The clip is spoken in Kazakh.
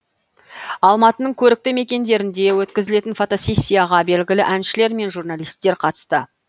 алматының көрікті мекендерінде өткізілген фотосессияға белгілі әншілер мен журналисттер қатысты